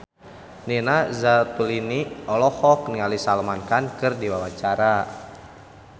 Nina Zatulini olohok ningali Salman Khan keur diwawancara